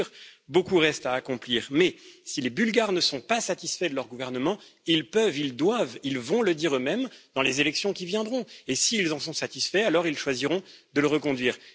Bien sûr, beaucoup reste à accomplir, mais si les Bulgares ne sont pas satisfaits de leur gouvernement, ils peuvent, ils doivent, ils vont le dire eux mêmes dans les élections qui viendront et si ils en sont satisfaits alors ils choisiront de le reconduire.